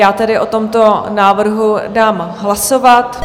Já tedy o tomto návrhu dám hlasovat.